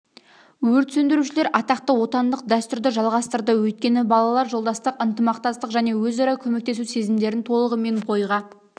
өрт сөндірушілер атақты отандық дәстүрді жалғастырды өйткені балалар жолдастық ынтымақтастық және өзара көмектесу сезімдерін толығымен бойға